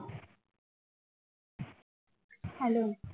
hello